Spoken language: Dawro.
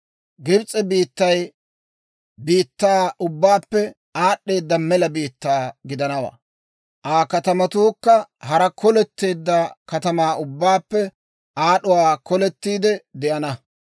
Gibs'e biittay biittaa ubbaappe aad'd'eeda mela biittaa gidanawaa; Aa katamatuukka hara koletteedda katamaa ubbaappe aad'uwaa kolettiide de'ana.